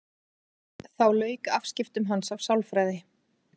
Þá lauk afskiptum hans af sálfræði.